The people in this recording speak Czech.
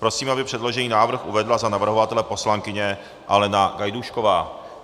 Prosím, aby předložený návrh uvedla za navrhovatele poslankyně Alena Gajdůšková.